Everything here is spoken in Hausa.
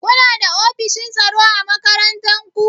Kuna da ofishin tsaro a makarantar ku?